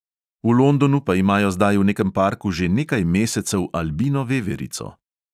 V londonu pa imajo zdaj v nekem parku že nekaj mesecev albino veverico.